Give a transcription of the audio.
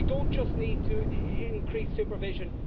We don't just need to increase supervision.